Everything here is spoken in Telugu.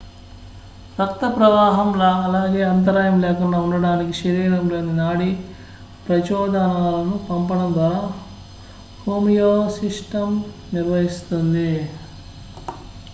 రక్త ప్రవాహం అలాగే అంతరాయం లేకుండా ఉండటానికి శరీరంలోని నాడీ ప్రచోదనాలను పంపడం ద్వారా హోమియోస్సిస్టమ్ నిర్వహిస్తుంది